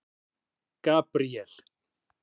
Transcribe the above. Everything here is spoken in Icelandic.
Gabríel